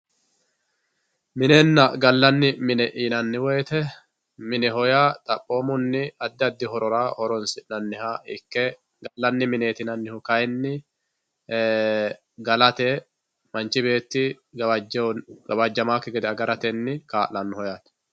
Minenna galani yinnanni woyite, mineho yaa xaphomunni adi adi horora horonisinaniha ikke, galanni mineti yinanihu kayini galate manchi beeti gawajamaaki gede agaratenni kaalanoho yaate.